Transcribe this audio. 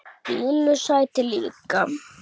Lillu sæti líka.